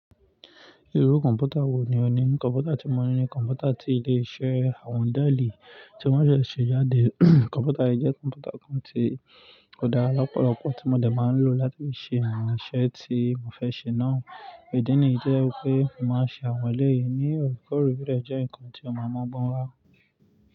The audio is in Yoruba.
Irú kọ̀npútà wò ní o ní? Kọ̀npútà tí mo ní ni kọ̀npútà tí ó lè ṣe àwọn díàlí tí wọ́n se ṣe jáde. Kọ̀npútà yìí jẹ́ kọ̀npútà kan tí ó dára lọ́pọ̀lọpọ̀ tí mo dà máa ń lò láti fi ṣe àwọn iṣẹ́ tí mo fẹ́ ṣe náà. Ìdí nì yi ti o jeẹ́ wípé máa ṣe àwọn ẹlẹ́yin ni òrikori ti o de je ǹkan tí ó máa mọ́ gbọ́n wá.